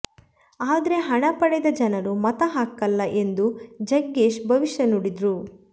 ಆದ್ರೆ ಹಣ ಪಡೆದ ಜನರು ಮತ ಹಾಕಲ್ಲ ಎಂದು ಜಗ್ಗೇಶ್ ಭವಿಷ್ಯ ನುಡಿದ್ರು